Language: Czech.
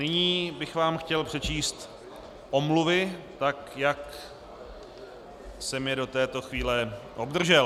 Nyní bych vám chtěl přečíst omluvy, tak jak jsem je do této chvíle obdržel.